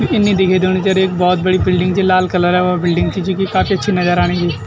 यी इन्नी दिखे दयेणी जन एक भौत बड़ी बिल्डिंग च लाल कलरे व बिल्डिंग च जुकी काफी अच्छी नजर आणि यि।